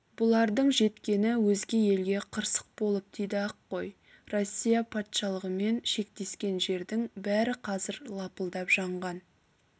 бұлардың жеткені өзге елге қырсық болып тиді-ақ қой россия патшалығымен шектескен жердің бәрі қазір лапылдап жанған